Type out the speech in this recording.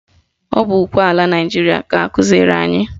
Ọ bụ ukwe ala Naịjiria ka akụziri anyị